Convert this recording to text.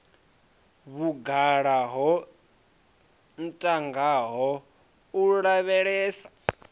vhugala wo ntangaho u lavhelesa